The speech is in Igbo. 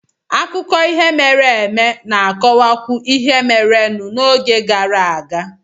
Akụkọ ihe mere eme na-akọwakwuo ihe merenụ n'oge gara aga